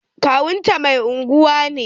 Kawunta mai unguwa ne.